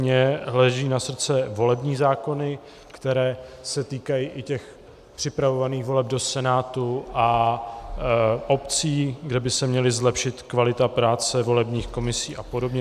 Mně leží na srdci volební zákony, které se týkají i těch připravovaných voleb do Senátu a obcí, kde by se měla zlepšit kvalita práce volebních komisí a podobně.